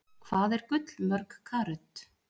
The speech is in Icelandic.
Hvað er gull mörg karöt?